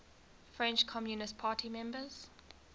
french communist party members